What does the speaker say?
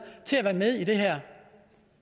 til at være med i det her